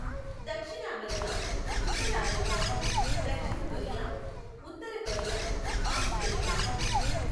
దక్షిణ అమెరికా, ఉత్తర అమెరికా, దక్షిణ కొరియా, ఉత్తర కొరియా, ఆస్ట్రేలియా.